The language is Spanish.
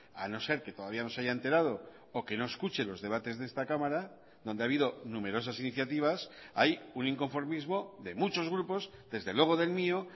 a no ser que todavía no se haya enterado o que no escuche los debates de esta cámara donde ha habido numerosas iniciativas hay un inconformismo de muchos grupos desde luego del mío